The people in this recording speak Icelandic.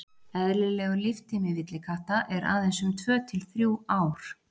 Eðlilegur líftími villikatta er aðeins um tvö til þrjú ár.